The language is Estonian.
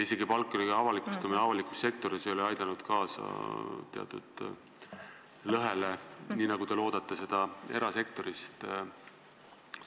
Isegi palkade avalikustamine avalikus sektoris ei ole aidanud kaasa teatud lõhe kaotamisele, mida te loodate erasektorilt.